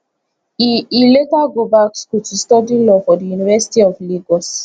e e later go back school to study law for di university of lagos